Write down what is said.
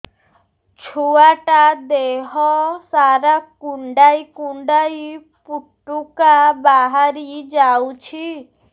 ଛୁଆ ଟା ଦେହ ସାରା କୁଣ୍ଡାଇ କୁଣ୍ଡାଇ ପୁଟୁକା ବାହାରି ଯାଉଛି